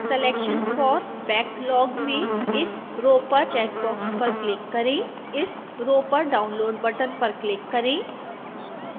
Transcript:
selection for backlog में इस row पर चेक बॉक्स पर क्लिक करें इस रो पर download बटन पर क्लिक करें